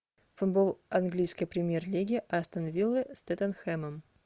футбол английской премьер лиги астон вилла с тоттенхэмом